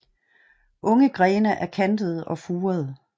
Unge grene er kantede og furede